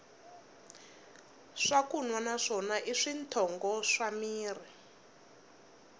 swakunwa na swona i switshongo swa mirhi